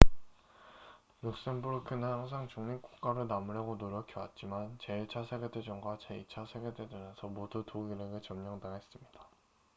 룩셈부르크는 항상 중립국가로 남으려고 노력해왔지만 제1차 세계대전과 제2차 세계대전에서 모두 독일에게 점령당했습니다